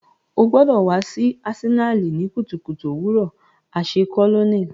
O gbọdọ wa si Asenali ni kutukutu owurọ aṣẹ colonel.